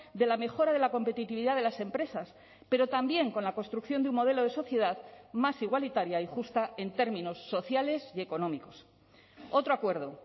de la mejora de la competitividad de las empresas pero también con la construcción de un modelo de sociedad más igualitaria y justa en términos sociales y económicos otro acuerdo